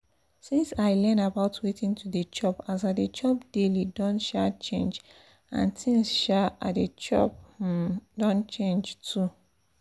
since i learn about wetin to dey chop as i dey chop daily don um change and things um i dey chop um don change too